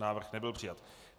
Návrh nebyl přijat.